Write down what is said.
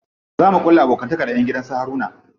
Za mu ƙulla abokantaka da ƴan gidan su Haruna.